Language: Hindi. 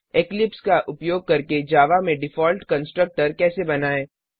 इक्लिप्स का उपयोग करके जावा में डिफॉल्ट कंस्ट्रक्टर कैसे बनाएँ